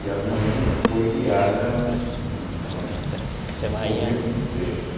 E a minha mãe foi criada num numa num convento de freiras.